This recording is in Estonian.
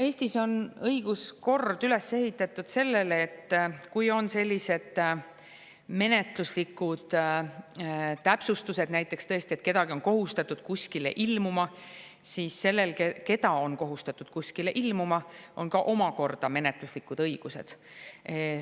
Eestis on õiguskord üles ehitatud sellele, et kui on sellised menetluslikud täpsustused, näiteks kui kedagi on kohustatud kuskile ilmuma, siis sellel, keda on kohustatud kuskile ilmuma, on ka omakorda menetluslikud õigused.